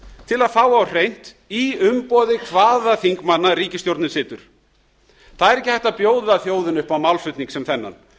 til að fá á hreint í umboði hvaða þingmanna ríkisstjórnin situr það er ekki hægt að bjóða þjóðinni upp á málflutning sem þennan